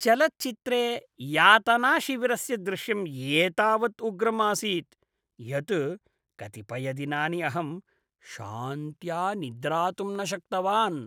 चलच्चित्रे यातनाशिविरस्य दृश्यम् एतावत् उग्रम् आसीत् यत् कतिपयदिनानि अहं शान्त्या निद्रातुं न शक्तवान्।